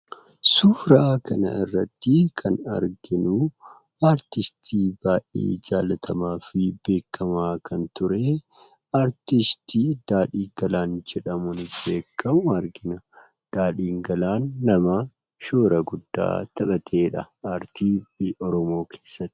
Suuraa kana irratti kan arginu artistii baay'ee jaallatamaa fi beekkamaa kan ture, artistii Daadhii Galaan jedhamuun beekkamu argina. Daadhiin Galaan nama shoora guddaa taphateedha artii Oromoo keessatti.